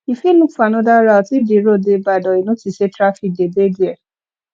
you fit look for another route if di road de bad or you notice say trafic de dey there